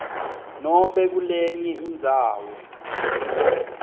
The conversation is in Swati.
nobe kulenye indzawo